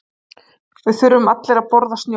Við þurfum allir að borða snjó.